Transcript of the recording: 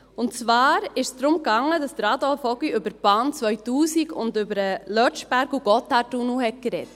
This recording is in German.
Es ging darum, dass Adolf Ogi über die Bahn 2000 und über den Lötschberg- und Gotthardtunnel sprach.